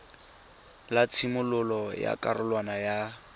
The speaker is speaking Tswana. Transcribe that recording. la tshimololo ya karolwana ya